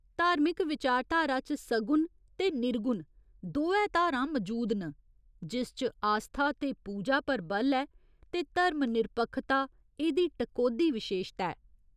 धार्मिक विचारधारा च सगुण ते निर्गुण दोऐ धारां मजूद न, जिस च आस्था ते पूजा पर बल ऐ ते धर्म निरपक्खता एह्दी टकोह्दी विशेशता ऐ।